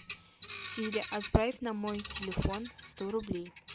сири отправь на мой телефон сто рублей